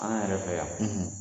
An yɛrɛ fɛ yan